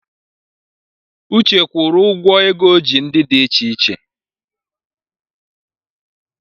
Uche gwuru ụgọ ego o ji ndi icheiche